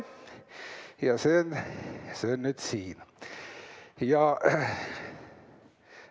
Ja see on nüüd siin!